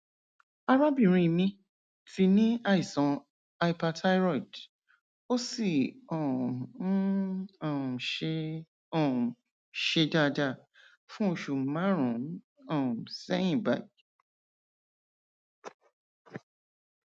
arábìnrin mi ti ní àìsàn hyperthyroid ó sì um ń um ṣe um ṣe dáadáa fún oṣù márùnún um sẹyìn báyìí